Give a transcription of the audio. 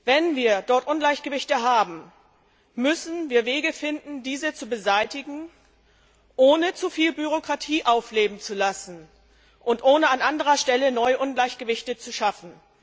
Wenn wir dort Ungleichgewichte haben, müssen wir Wege finden, diese zu beseitigen, ohne zu viel Bürokratie aufleben zu lassen und ohne an anderer Stelle neue Ungleichgewichte zu schaffen.